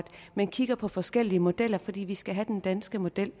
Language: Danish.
man kigger på forskellige modeller fordi vi skal have den danske model